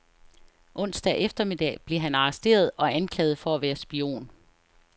Onsdag eftermiddag blev han arresteret og anklaget for at være spion.